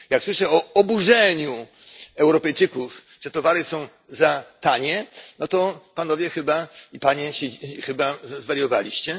Jak słyszę o oburzeniu Europejczyków na to, że towary są za tanie, to panowie i panie chyba zwariowaliście.